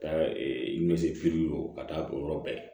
Ka ka taa o yɔrɔ bɛɛ